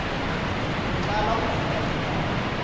ho tlala ho feta tekano